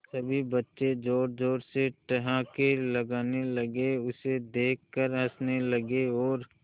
सभी बच्चे जोर जोर से ठहाके लगाने लगे उसे देख कर हंसने लगे और